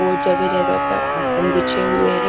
वो जगह जगह पर आसन बिछे हुए है।